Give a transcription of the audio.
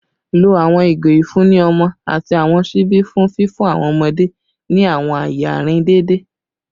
Lo awọn igo ifunni ọmọ ati awọn ṣibi fun fifun awọn ọmọde ni awọn aaye arin deede